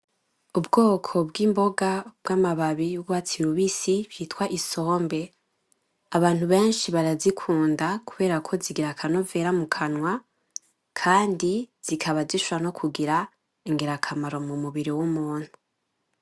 Ubwoko bw'imboga bw'amababi y'urwatsi rubisi bitwa isombe. Abantu benshi barazikunda kuberako zigira akanovera mu kanwa kandi zikaba zishobora no kugira ingerakamaro mu mubiri w'umuntu.